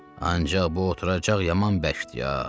Ancaq bu oturacaq yaman bərkdi, ha!